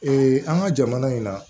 an ka jamana in na